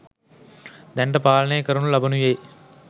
දැනට පාලනය කරනු ලබනුයේ